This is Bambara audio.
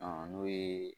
n'o ye